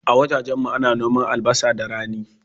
A wajajen mu ana noma albasa da rani